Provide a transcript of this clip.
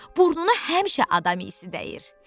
Burnuna həmişə adam iysi dəyir.